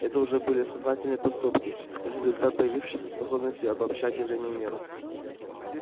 это уже были сознательные поступки результат появившейся способности обобщать явления мира